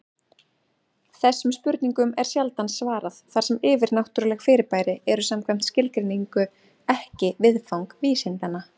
Þessum spurningum er sjaldan svarað, þar sem yfirnáttúruleg fyrirbæri eru samkvæmt skilgreiningu ekki viðfang vísindanna.